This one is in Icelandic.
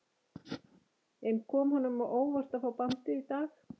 En kom honum á óvart að fá bandið í dag?